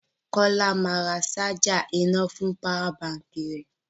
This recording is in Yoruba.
Kọ́lá máa ra ṣájà iná fún páwà baǹkì rẹ.